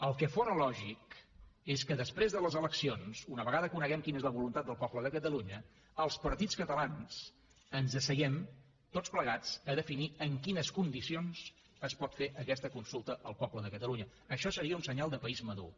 el que fóra lògic és que després de les eleccions una vegada coneguem quina és la voluntat del poble de catalunya els partits catalans ens asseguéssim tots plegats a definir en quines condicions es pot fer aquesta consulta al poble de catalunya això seria un senyal de país madur